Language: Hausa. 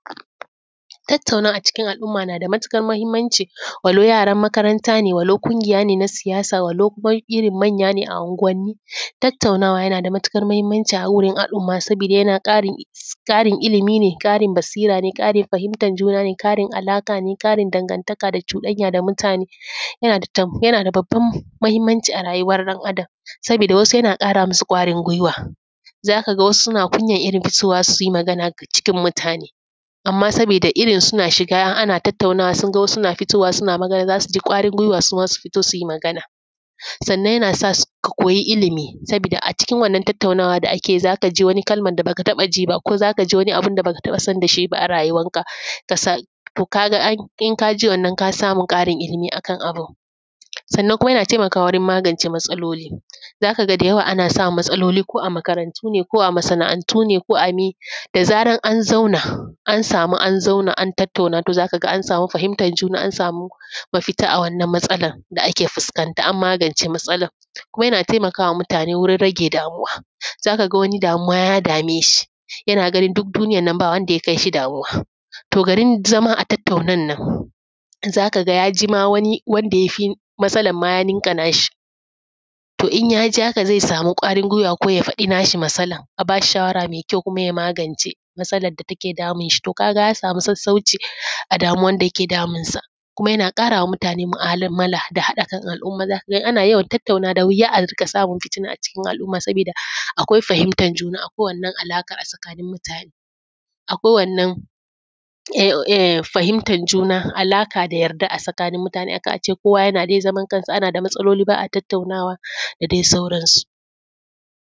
Tattaunawa a cikin al'umma na da matuƙar muhimmanci walau yaran makaranta ne, walau ƙungiya ne na siyasa, walau irin manya ne a unguwanni. Tattaunawa yana da matuƙar muhimmanci a wurin al'umma sabida yana ƙarin ilimi ne, ƙarin basira ne, ƙarin fahimtar juna, ƙarin alaƙa ne, ƙarin dangantaka da cuɗanya da mutane. Yana da babban muhimmanci a rayuwar ɗan Adam sabida wasu yana ƙara musu ƙwarin guiwa, za ka ga wasu suna irin kunyan fitowa su yi magana a cikin mutane amman sabida irin suna shiga ana tattaunawa, sun ga wasu suna fitowa suna magana, za su ji ƙwarin guiwa suma su fito su yi Magana. Sannan yana sa ka koyi ilimi sabida a cikin wannan tattaunawa da ake yi za ka ji wani kalman da baka taɓa ji ba, ko zaka ji wani abun da baka taɓa sanda shi ba a rayuwar ka. To ka ga in ka ji wannan ka samu ƙarin ilimi akan abun. Sannan kuma yana taimakawa wurin magance matsaloli, za ka ga da yawa ana samun matsaloli ko a makarantu ne, ko a masana’antu ne ko a mi, da zarar an zauna an samu an zauna an tattauna to za ka ga an samu fahimtar juna, an samu mafita a wannan matsalan da ake fuskanta an magance matsalan. Kuma yana taimaka ma mutane wurin rage damuwa, za ka ga wani damuwa ya dame shi yana ganin duk duniyan nan ba wanda ya kai shi damuwa. To garin zama a tattaunan nan za ka ga ya ji ma wani wanda yafi matsalan ma yaninka na shi. To in ya ji haka zai samu ƙwarin guiwa ko ya faɗi na shi matsalan a ba shi shawara mai kyau, kuma ya magance matsalan da take damun shi. To ka ga an samu sassauci a damuwan da yake damunsa. Kuma yana ƙara wa mutane mu'amala da haɗa kan al'umma. Za ka ga ana yawan tattaunawa da wuya a rinƙa samun fitina a cikin al'umma sabida akwai fahimtar juna a kowane alaka a tsakanin mutane. Akwai wannan fahimtar juna alaka, da yarda a tsakanin mutane, a kan a ce kowa yana dai zaman kansa ana da matsaloli ba a tattaunawa da dai sauransu.